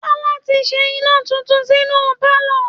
Tọ́lá ti ṣe iná tuntun sínú pálọ̀